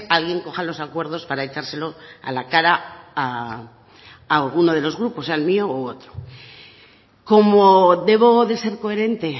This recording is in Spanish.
alguien coja los acuerdos para echárselo a la cara a algunos de los grupos al mío u otro como debo de ser coherente